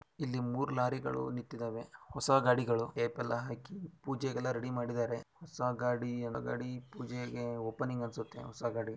ಇಲ್ಲಿ ಮೂರು ಲಾರಿಗಳು ನಿಂತಿದ್ದವೇ ಹೊಸ ಗಾಡಿಗಳು ಟೇಪ್ ಎಲ್ಲಾ ಹಾಕಿ ಪೂಜೆಗೆಲ್ಲ ರೆಡಿ ಮಾಡಿದ್ದಾರೆ ಹೊಸ ಗಾಡಿ ಓಪನಿಂಗ್ ಹೊಸ ಗಾಡಿ ಅನ್ಸುತ್ತೆ--